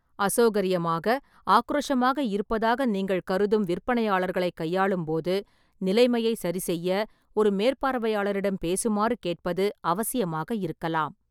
அசௌகரியமாக ஆக்ரோஷமாக இருப்பதாக நீங்கள் கருதும் விற்பனையாளர்களைக் கையாளும் போது, நிலைமையை சரிசெய்ய ஒரு மேற்பார்வையாளரிடம் பேசுமாறு கேட்பது அவசியமாக இருக்கலாம்.